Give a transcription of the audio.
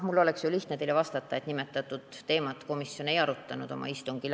Mul oleks muidugi lihtne teile vastata, et nimetatud teemat komisjon oma istungil ei arutanud.